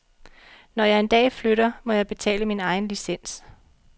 Når jeg en dag flytter, må jeg betale min egen licens.